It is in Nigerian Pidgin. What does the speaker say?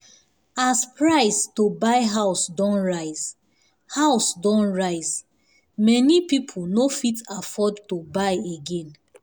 as price to buy house don rise house don rise many people no fit afford to buy again.